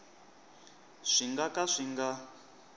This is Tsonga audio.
swi nga ka swi nga